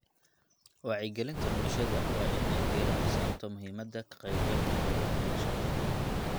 Wacyigelinta bulshada waa inay diirada saarto muhiimadda ka qaybgalka hawlaha bulshada.